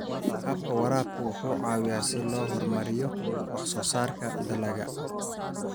Habka waraabka wuxuu caawiyaa si loo horumariyo wax soo saarka dalagga.